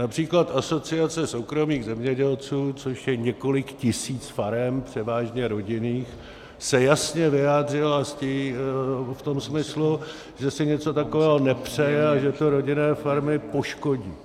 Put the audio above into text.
Například Asociace soukromých zemědělců, což je několik tisíc farem, převážně rodinných, se jasně vyjádřila v tom smyslu, že si něco takového nepřeje a že to rodinné farmy poškodí.